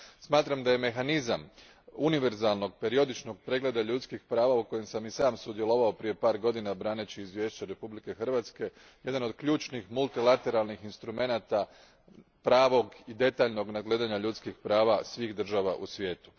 Smatram da je mehanizam univerzalnog, periodičnog pregleda ljudskih prava, u kojima sam i sam sudjelovao prije par godina braneći izvješće Republike Hrvatske, jedan od ključnih multilateralnih instrumenata pravog i detaljnog nadgledanja ljudskih prava svih država u svijetu.